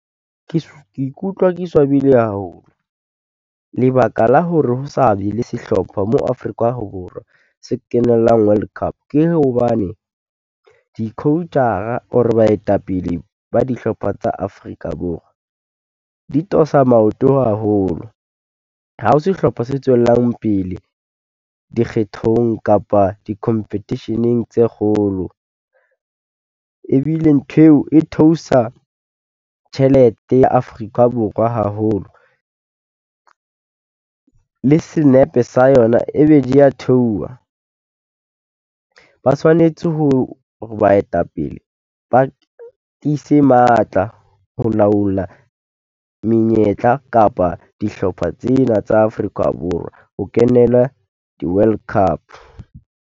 Ke ke ikutlwa ke swabile haholo, lebaka la hore ho sa be le sehlopha mo Afrika Borwa se kenellang World Cup ke hobane di-coach-ra or baetapele ba dihlopha tsa Afrika Borwa, di tosa maoto haholo. Ha ho sehlopha se tswellang pele dikgethong kapa di-competition-eng tse kgolo, ebile ntho eo e theosa tjhelete ya Afrika Borwa haholo, le senepe sa yona e be di ya theoha. Ba tshwanetse ho, ho baetapele ba ise matla ho laola menyetla kapa dihlopha tsena tsa Afrika Borwa, ho kenela di-World Cup.